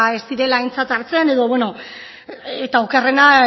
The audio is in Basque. ez direla aintzat hartzen eta okerrena